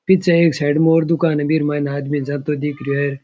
पीछे एक साइड में एक और भी दुकान है बीमे आदमी जाता दिखे है।